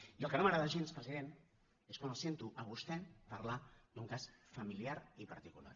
i el que no m’agrada gens president és quan el sento a vostè parlar d’ un cas familiar i particular